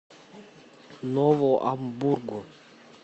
нову амбургу